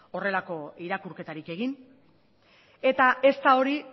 horrelako irakurketarik egin eta ez da hori